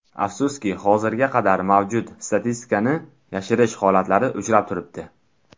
Afsuski hozirga qadar mavjud statistikani yashirish holatlari uchrab turibdi.